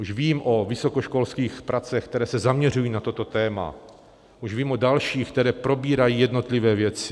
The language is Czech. Už vím o vysokoškolských pracích, které se zaměřují na toto téma, už vím o dalších, které probírají jednotlivé věci.